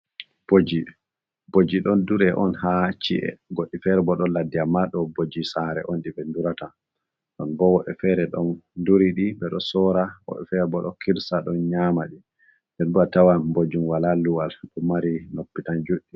Ɓoji ɓoji don dure on ha chi’e goddi fere bo don laddi amma ɗo boji sare on di be ndurata on bo wobɓe fere don duridi ɓe do sora woɓbe fere bo ɗo kirsa don nyamadi de dura tawan bo ɗum wala luwal bo mari noppi tan judɗi.